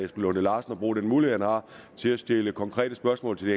lunde larsen at bruge den mulighed han har til at stille konkrete spørgsmål til